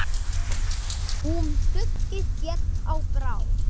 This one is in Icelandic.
Húm skuggi féll á brá.